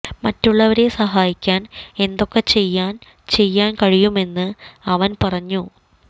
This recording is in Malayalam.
മറ്റുള്ളവരെ സഹായിക്കാൻ എന്തൊക്കെ ചെയ്യാൻ ചെയ്യാൻ കഴിയുമെന്ന് അവൻ പറഞ്ഞു